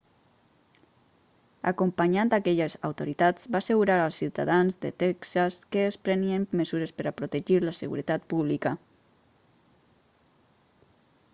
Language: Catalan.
acompanyat d'aquelles autoritats va assegurar als ciutadans de texas que es prenien mesures per a protegir la seguretat pública